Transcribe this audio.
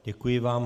Děkuji vám.